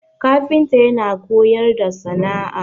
kafinta yana koyar da sana'a